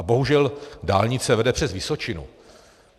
A bohužel dálnice vede přes Vysočinu.